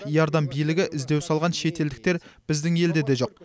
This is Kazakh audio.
иордан билігі іздеу салған шетелдіктер біздің елде де жоқ